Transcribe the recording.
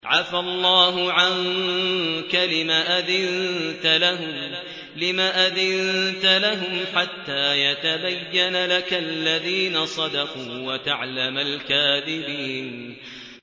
عَفَا اللَّهُ عَنكَ لِمَ أَذِنتَ لَهُمْ حَتَّىٰ يَتَبَيَّنَ لَكَ الَّذِينَ صَدَقُوا وَتَعْلَمَ الْكَاذِبِينَ